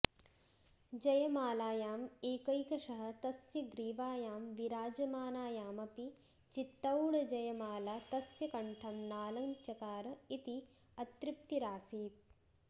जयमालायाम् एकैकशः तस्य ग्रीवायां विराजमानायामपि चित्तौडजयमाला तस्य कण्ठं नालञ्चकार इति अतृप्तिरासीत्